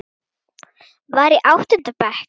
Var í áttunda bekk.